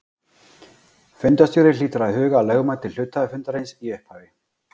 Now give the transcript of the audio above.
Fundarstjóri hlýtur að huga að lögmæti hluthafafundarins í upphafi.